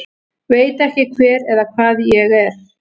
Veit ekki hver eða hvað ég er